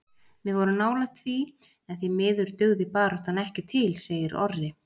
Við vorum nálægt því en því miður dugði baráttan ekki til segir Orri.